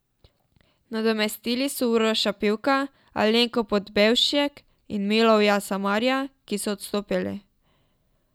Nadomestili so Uroša Pivka, Alenko Podbevšek in Milivoja Samarja, ki so odstopili.